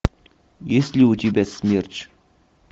есть ли у тебя смерч